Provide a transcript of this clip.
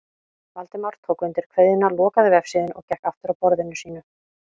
Valdimar tók undir kveðjuna, lokaði vefsíðunni og gekk aftur að borðinu sínu.